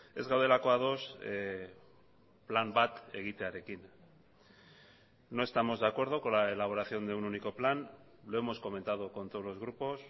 ez gaudelako ados plan bat egitearekin no estamos de acuerdo con la elaboración de un único plan lo hemos comentado con todos los grupos